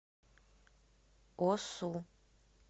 осу